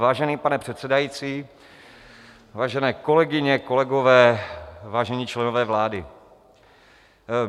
Vážený pane předsedající, vážené kolegyně, kolegové, vážení členové vlády.